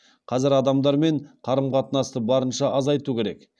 қазір адамдармен қарым қатынасты барынша азайту керек